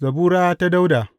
Zabura ta Dawuda.